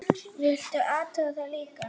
Viltu athuga það líka!